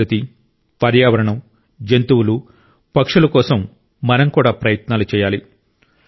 ప్రకృతి పర్యావరణం జంతువులు పక్షుల కోసం మనం కూడా ప్రయత్నాలు చేయాలి